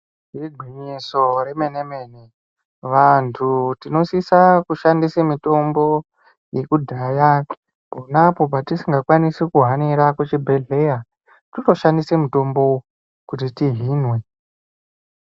Igwinyiso remene-mene vantu tinosisa kushandise mitombo yekudhaya ponapo patisingakwanisi kuhanira kuchibhedhlera, totoshandise mutombo kuti tihinwe.